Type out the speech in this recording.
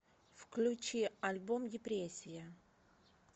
включи альбом депрессия